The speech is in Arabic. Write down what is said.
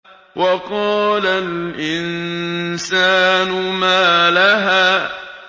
وَقَالَ الْإِنسَانُ مَا لَهَا